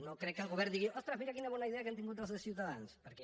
no crec que el govern digui ostres mira quina bona idea que han tingut els de ciutadans perquè